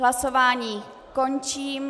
Hlasování končím.